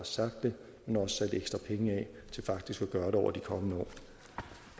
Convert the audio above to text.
sagt det men også sat ekstra penge af til faktisk at gøre det over de kommende år